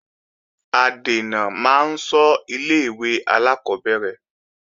Adènà máa ń ṣọ́ ilé-ìwé alákọ́bẹ̀rẹ̀